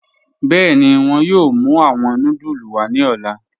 Bẹẹni, wọn yọọ mù awọn núdúlù wa ni ọ̀lá.